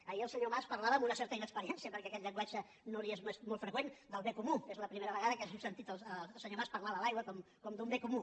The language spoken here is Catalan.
ahir el senyor mas parlava amb una certa inexperiència perquè aquest llenguatge no li és molt freqüent del bé comú que és la primera vegada que hem sentit el senyor mas parlar de l’aigua com d’un bé comú